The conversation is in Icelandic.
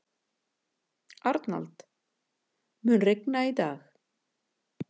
Arnald, mun rigna í dag?